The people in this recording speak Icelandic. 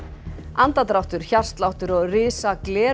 andardráttur hjartsláttur og risa gler